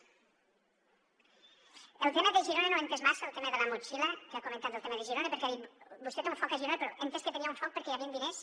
el tema de girona no l’he entès massa el tema de la motxilla que ha comentat del tema de girona perquè ha dit vostè té un foc a girona però he entès que hi tenia un foc perquè hi havien diners